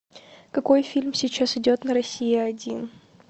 какой фильм сейчас идет на россия один